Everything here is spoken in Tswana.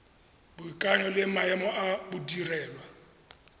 boikanyo le maemo a modirelwa